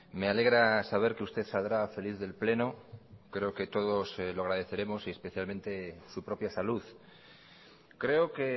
me alegra saber que usted saldrá feliz del pleno creo que todos lo agradeceremos y especialmente su propia salud creo que